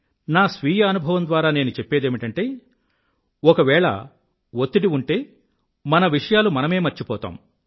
నా స్వీయ అనుభవం ద్వారా నేను చెప్పేదేమిటంటే ఒకవేళ వత్తిడి ఉంటే మన విషయాలు మనమే మర్చిపోతాము